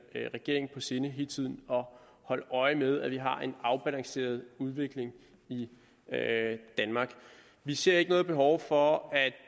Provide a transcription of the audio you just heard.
regeringen på sinde hele tiden at holde øje med at vi har en afbalanceret udvikling i danmark vi ser ikke noget behov for at